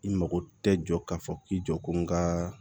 I mago tɛ jɔ k'a fɔ k'i jɔ ko n ka